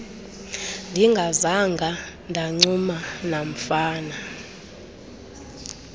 ndingazanga ndancuma namfana